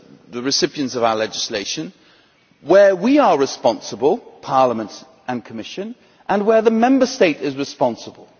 the recipients of our legislation, where we are responsible Parliament and Commission and where the Member State is responsible.